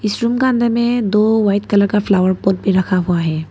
इस रूम का अंदर में दो वाइट कलर का फ्लावर पॉट भी रखा हुआ है।